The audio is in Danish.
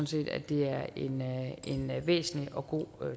set at det er en væsentlig og god